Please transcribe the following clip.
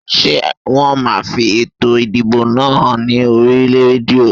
Ṣé wọn máa fi ètò ìdìbò náà hàn ní oríi rédíò?